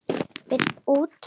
Vill út.